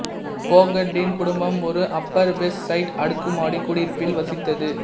போகர்டின் குடும்பம் ஒரு upper west side அடுக்குமாடி குடியிருப்பில் வசித்தது